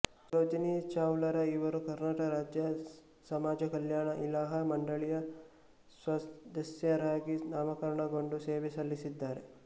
ಸರೋಜಿನಿ ಚವಲಾರ ಇವರು ಕರ್ನಾಟಕ ರಾಜ್ಯ ಸಮಾಜಕಲ್ಯಾಣ ಸಲಹಾ ಮಂಡಳಿಯ ಸ್ವದಸ್ಯರಾಗಿ ನಾಮಕರಣಗೊಂಡು ಸೇವೆ ಸಲ್ಲಿಸಿದ್ದಾರೆ